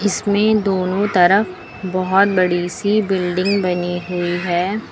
इसमें दोनों तरफ बहोत बड़ी सी बिल्डिंग बनी हुई है।